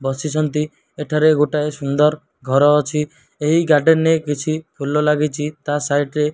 ବସିଛନ୍ତି ଏଠାରେ ଗୋଟାଏ ସୁନ୍ଦର ଘର ଅଛି ଏହି ଗାର୍ଡେନ ରେ କିଛି ଫୁଲ ଲାଗିଚି ତା ସାଇଟ୍ ରେ।